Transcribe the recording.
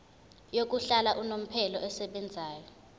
yokuhlala unomphela esebenzayo